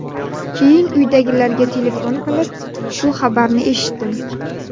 Keyin uydagilarga telefon qilib, shu xabarni eshitdim.